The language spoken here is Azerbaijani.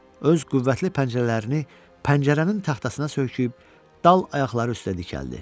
Öz qüvvətli pəncərələrini pəncərənin taxtasına söykəyib dal ayaqları üstə dikəldi.